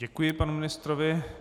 Děkuji panu ministrovi.